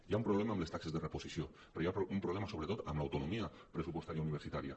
hi ha un pro·blema amb les taxes de reposició però hi ha un problema sobretot amb l’autonomia pressupostària universitària